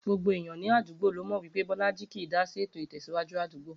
Gbogbo èèyan ní àdúgbò ló mò̩ wí pé Bó̩lájí kì í dásí ètò ìtè̩síwájú àdúgbò